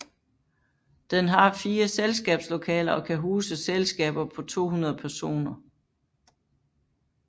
Den har 4 selskabslokaler og kan huse selskaber på 200 personer